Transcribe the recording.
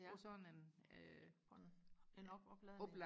på sådan øh en på en opladning